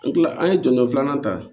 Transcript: An kila an ye jɔnjɔn filanan ta